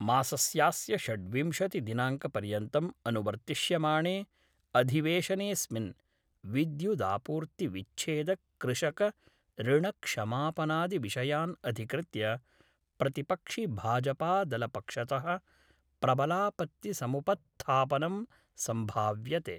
मासस्यास्य षड्विंशदिनांकपर्यन्तं अनुवर्त्तिष्यमाणे अधिवेशनेस्मिन् विद्युदापूर्तिविच्छेदकृषकऋणक्षमापनादिविषयान् अधिकृत्य प्रतिपक्षिभाजपादलपक्षत: प्रबलापत्तिसमुपत्थापनं सम्भाव्यते।